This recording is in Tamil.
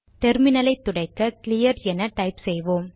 டெர்மினலை துடைக்க கிளியர் என டைப் செய்வோம்